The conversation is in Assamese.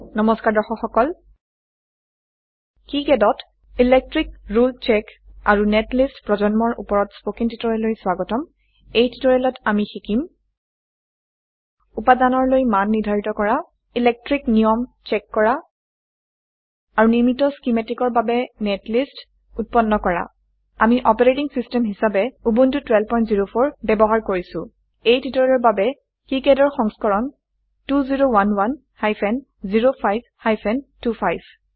নমস্কাৰ দৰ্শক সকল Kicadত ইলেক্ট্ৰিক ৰুলে চেক আৰু নেটলিষ্ট প্ৰজন্মৰ উপৰত স্পকেন টিউটোৰিয়েললৈ স্বাগতম এই টিউটোৰিয়েলত আমি শিকিম উপাদানৰলৈ মান নিৰ্ধাৰিত কৰা ইলেকট্ৰিক বৈদ্যুতিক নিয়ম চেক কৰা আৰু নিৰ্মিত schematicপৰিকল্পিতৰ বাবে নেটলিষ্ট উৎপন্ন কৰা আমি অপাৰেটিং সিস্টেম হিসাবে উবুন্টু 1204 ব্যবহাৰ কৰিছো এই টিউটোৰিয়ালেৰ বাবে Kicadৰ সংস্কৰণ 2011 হাইফেন05 হাইফেন 25